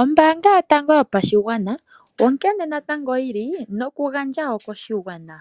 Ombaanga yotango yopashigwana, onkene natango yili nokugandja koshigwana,